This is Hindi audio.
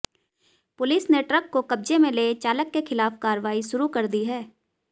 पुलिस ने ट्रक को कब्जे में ले चालक के खिलाफ कार्रवाई शुरू कर दी है